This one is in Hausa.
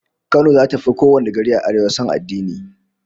Kano zata fi kowane gari a Arewa son addini